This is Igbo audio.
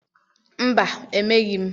Mba, emeghị m.